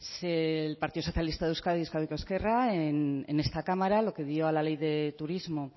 el partido socialista de euskadi euskadiko ezkerra en esta cámara lo que dio a la ley de turismo